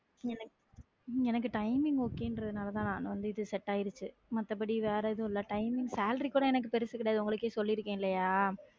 எனக்~ உம் எனக்கு timing okay ன்றதுனால தான் இது சேட் ஆயிருச்சு மத்தபடி வேற எதுவும் இல்லை timing salary கூட எனக்கு பெருசு கிடையாது உங்களுக்கே சொல்லியிருக்கேன் இல்லையா